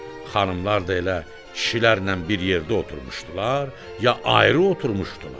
Xanımlar da elə kişilərlə bir yerdə oturmuşdular ya ayrı oturmuşdular?